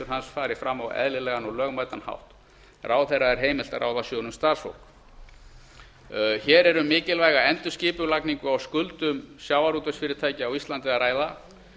hans fari fram á eðlilegan og lögmætan hátt ráðherra er heimilt að ráða sjóðnum starfsfólk hér er um mikilvæga endurskipulagningu á skuldum sjávarútvegsfyrirtækja á íslandi að ræða